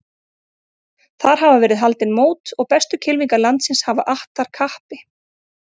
Þar hafa verið haldin mót og bestu kylfingar landsins hafa att þar kappi.